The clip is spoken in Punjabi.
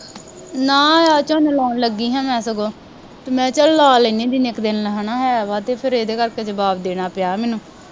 ਨਾ ਅੱਜ ਝੋਨਾ ਲਾਉਣ ਲੱਗੀ ਹਾਂ ਮੈਂ ਸਗੋਂ ਅਤੇ ਮੈਂ ਚੱਲ ਲਾ ਲੈਂਦੀ ਹਾਂ ਜਿੰਨੇ ਕੁ ਦਿਨ ਹੈ ਨਾ ਹੈਗਾ ਅਤੇ ਫੇਰ ਇਹਦੇ ਕਰਕੇ ਜਵਾਬ ਦੇਣਾ ਪਿਆ ਮੈਨੂੰ